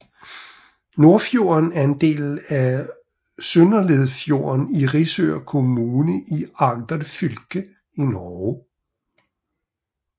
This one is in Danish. Nordfjorden er en del af Søndeledfjorden i Risør kommune i Agder fylke i Norge